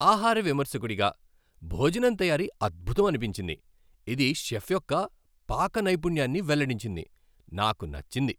ఆహార విమర్శకుడిగా, భోజనం తయారీ అద్భుతమనిపించింది, ఇది షెఫ్ యొక్క పాక నైపుణ్యాన్ని వెల్లడించింది. నాకు నచ్చింది.